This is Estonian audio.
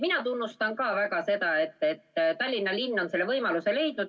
Minagi tunnustan väga seda, et Tallinna linn on selle võimaluse leidnud.